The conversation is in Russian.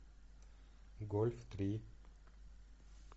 гольф три